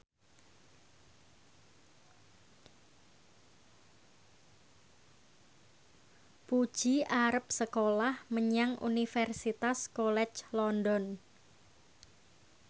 Puji arep sekolah menyang Universitas College London